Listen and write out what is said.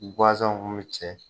Gazanw kun mi cɛ